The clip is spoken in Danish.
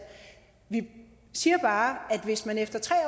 vi siger bare at hvis man efter tre år